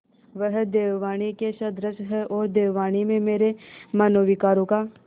वह देववाणी के सदृश हैऔर देववाणी में मेरे मनोविकारों का